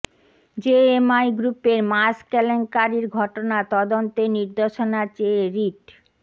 JMI গ্রুপের mask কেলেঙ্কারির ঘটনা তদন্তের নির্দেশনা চেয়ে রিট